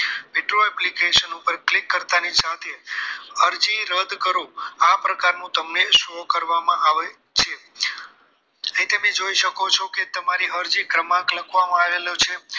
withdraw application ની પર click કરતા ની સાથે અરજી રદ કરો આ પ્રકાર તમને show કરવામાં આવે છે એ તમે જોઈ શકો છો કે તમારી અરજી ક્રમમાં લખવામાં આવેલ છે